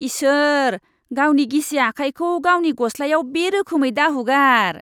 इसोर। गावनि गिसि आखायखौ गावनि गस्लाायाव बे रोखोमै दाहुगार।